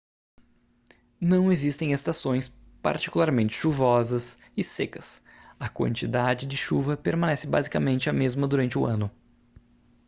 não existem estações particularmente chuvosas e secas a quantidade de chuva permanece basicamente a mesma durante o ano